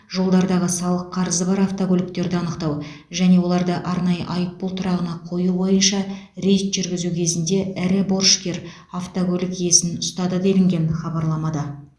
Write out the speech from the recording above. жолдардағы салық қарызы бар автокөліктерді анықтау және оларды арнайы айыппұл тұрағына қою бойынша рейд жүргізу кезінде ірі борышкер автокөлік иесін ұстады делінген хабарламада